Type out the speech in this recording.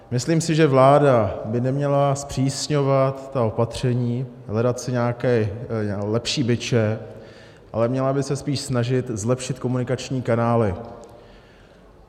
Myslím si, že vláda by neměla zpřísňovat ta opatření, hledat si nějaké lepší biče, ale měla by se spíš snažit zlepšit komunikační kanály.